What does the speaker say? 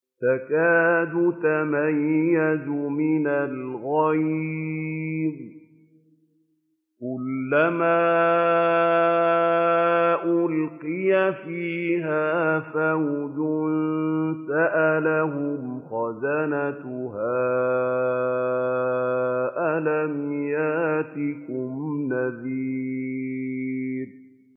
تَكَادُ تَمَيَّزُ مِنَ الْغَيْظِ ۖ كُلَّمَا أُلْقِيَ فِيهَا فَوْجٌ سَأَلَهُمْ خَزَنَتُهَا أَلَمْ يَأْتِكُمْ نَذِيرٌ